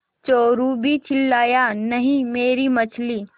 चोरु भी चिल्लाया नहींमेरी मछली